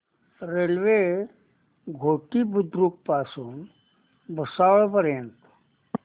railway Ghoti Budruk पासून भुसावळ पर्यंत